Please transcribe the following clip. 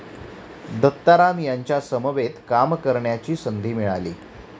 दत्ताराम यांच्या समवेत काम करण्याची संधी मिळाली.